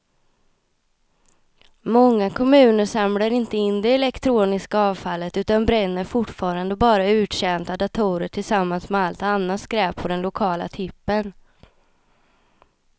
Många kommuner samlar inte in det elektroniska avfallet utan bränner fortfarande bara uttjänta datorer tillsammans med allt annat skräp på den lokala tippen.